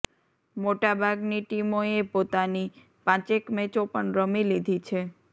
મોટાબાગની ટીમોએ પોતાની પાંચેક મેચો પણ રમી લીધી છે